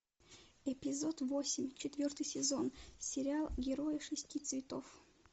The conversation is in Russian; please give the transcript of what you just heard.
эпизод восемь четвертый сезон сериал герои шести цветов